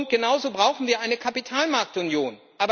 Genauso brauchen wir eine Kapitalmarktunion.